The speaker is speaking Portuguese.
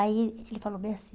Aí ele falou bem assim.